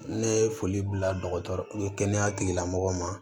Ne ye foli bila dɔgɔtɔrɔ kɛnɛya tigilamɔgɔw ma